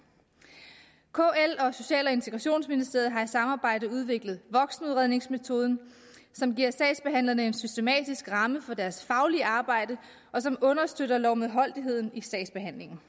kl og social og integrationsministeriet har i et samarbejde udviklet voksenudredningsmetoden som giver sagsbehandlerne en systematisk ramme for deres faglige arbejde og som understøtter lovmedholdeligheden i sagsbehandlingen